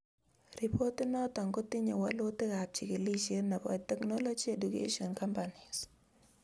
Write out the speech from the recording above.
Ripot inoto kotinye walutikab jikilisiet nebo technology education companies